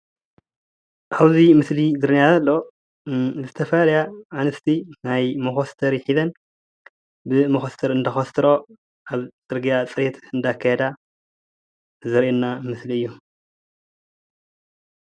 ኣብዚ ምስሊ ዝረአየና ዘሎ ዝተፈላለያ ኣንስቲ ናይ መኮስተረን ሒዘን ብመኮስተር እንዳኮስተረኦ ኣብ ፅርግያ ፅሬት እንዳካየዳ ዘርእየና ምስሊ እዩ፡፡